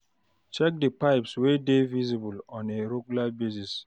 Check di pipes wey dey visible on a regular basis